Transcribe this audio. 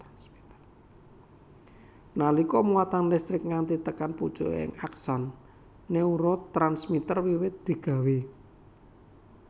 Nalika muatan listrik nganti tekan pucuking akson neurotransmiter wiwit digawé